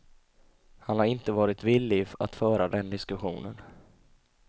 Han har inte varit villig att föra den diskussionen.